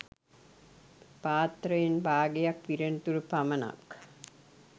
පාත්තරයෙන් බාගයක් පිරෙනතුරු පමණක්